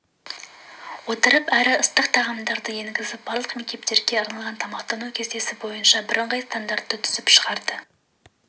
отырып әрі ыстық тағамдарды енгізіп барлық мектептерге арналған тамақтану кестесі бойынша бірыңғай стандартты түзіп шығарды